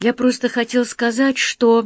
я просто хотел сказать что